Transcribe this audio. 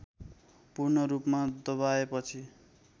पूर्ण रूपमा दबाएपछि